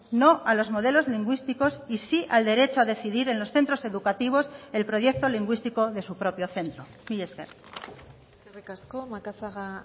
no a los modelos lingüísticos y sí al derecho a decidir en los centros educativos el proyecto lingüístico de su propio centro mila esker eskerrik asko macazaga